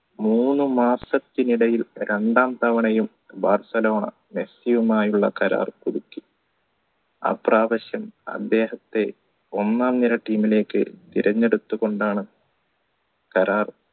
മൂന്നുമാസത്തിനിടയിൽ രണ്ടാം തവണയും ബാഴ്സലോണ മെസ്സിയും ആയുള്ള കരാർ പുതുക്കി അപ്രാവശ്യം അദ്ദേഹത്തെ ഒന്നാം നിര team ലേക്ക് തിരഞ്ഞെടുത്തുകൊണ്ടാണ് കരാർ